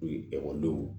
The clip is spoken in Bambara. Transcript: E ekɔlidenw